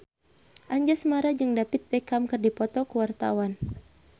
Anjasmara jeung David Beckham keur dipoto ku wartawan